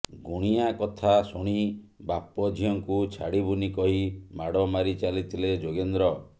ଗୁଣିଆ କଥା ଶୁଣି ବାପ ଝିଅଙ୍କୁ ଛାଡ଼ିବୁନି କହି ମାଡ଼ ମାରିଚାଲିଥିଲେ ଯୋଗେନ୍ଦ୍ର